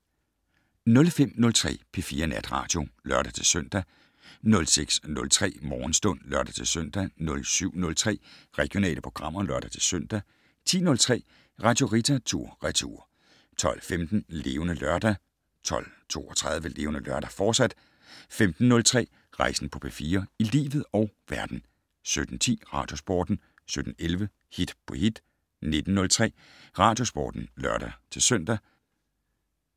05:03: P4 Natradio (lør-søn) 06:03: Morgenstund (lør-søn) 07:03: Regionale programmer (lør-søn) 10:03: Radio Rita tur/retur 12:15: Levende Lørdag 12:32: Levende Lørdag, fortsat 15:03: Rejsen på P4 - i livet og verden 17:10: Radiosporten 17:11: Hit på hit 19:03: Radiosporten (lør-søn)